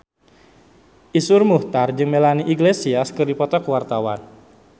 Iszur Muchtar jeung Melanie Iglesias keur dipoto ku wartawan